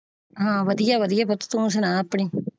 ਹਾਂ ਵਧੀਆ ਵਧੀਆ ਪੁੱਤ ਤੋਂ ਸੁਣਾ ਆਪਣੀ।